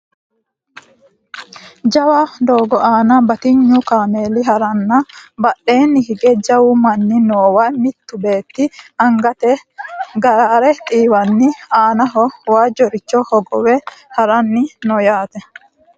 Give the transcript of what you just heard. jawa doogo aana batinyu kaameeli haranna badheenni hige jawu manni noowa mittu beetti angate gaare xiiwanni aanaho waajjoricho hogowe haranni no yaate